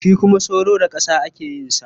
Shi kuma soro da ƙasa ake yin sa.